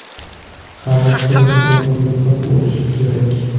Xamir silliq va quyuqroq bo‘lishi kerak.